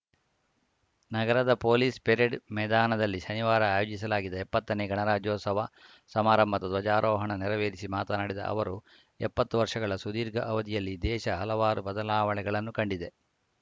ನಗರದ police parade ಮೆದಾನದಲ್ಲಿ ಶನಿವಾರ ಆಯೋಜಿಸಲಾಗಿದ್ದ ಎಪ್ಪತ್ತನೇ ಗಣರಾಜ್ಯೋತ್ಸವ ಸಮಾರಂಭದ ಧ್ವಜಾರೋಹಣ ನೆರವೇರಿಸಿ ಮಾತನಾಡಿದ ಅವರು ಎಪ್ಪತ್ತು ವರ್ಷಗಳ ಸುದೀರ್ಘ ಅವಧಿಯಲ್ಲಿ ದೇಶ ಹಲವಾರು ಬದಲಾವಣೆಗಳನ್ನು ಕಂಡಿದೆ